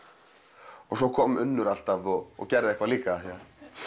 og svo kom Unnur alltaf og gerði eitthvað líka